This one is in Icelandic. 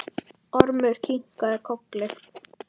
Ormur kinkaði kolli.